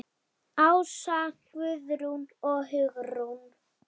Ása, Guðrún og Hugrún.